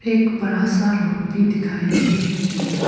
एक बड़ा सा रोड भी दिखाई दे रही है।